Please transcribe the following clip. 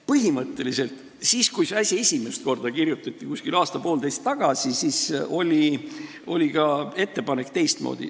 Põhimõtteliselt, kui see asi esimest korda aasta-poolteist tagasi kirja pandi, oli ettepanek teistmoodi.